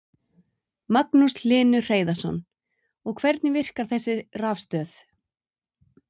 Magnús Hlynur Hreiðarsson: Og hvernig virkar þessi rafstöð?